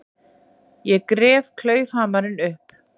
Ég gref klaufhamarinn upp.